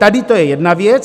Tady to je jedna věc.